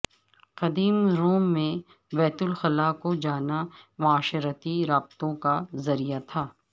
قدیم روم میں بیت الخلاء کو جانا معاشرتی رابطوں کا ذریعہ تھا